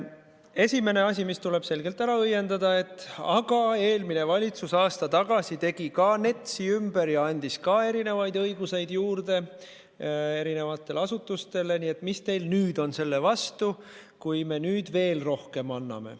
Esimene asi, mis tuleb selgelt ära õiendada, et "aga eelmine valitsus aasta tagasi tegi ka NETS-i ümber ja andis ka teatud õigusi juurde eri asutustele, nii et mis teil on selle vastu, kui me nüüd veel rohkem anname".